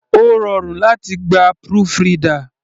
Ó rọrùn láti gba proofreader.